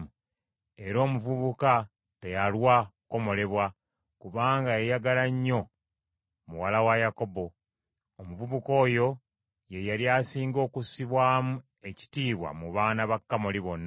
Era omuvubuka teyalwa kukomolebwa, kubanga yayagala nnyo muwala wa Yakobo. Omuvubuka oyo ye yali asinga okussibwamu ekitiibwa mu baana ba Kamoli bonna.